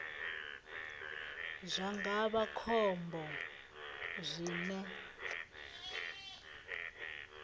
zwa nga vha khombo zwine